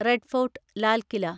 red Fort (Lal KILA)